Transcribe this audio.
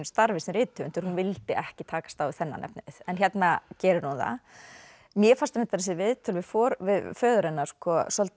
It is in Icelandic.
starfi sem rithöfundur hún vildi ekki takast á við þennan efnivið en hérna gerir hún það mér fannst reyndar þessi viðtöl við föður hennar svolítið